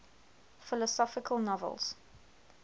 philosophical novels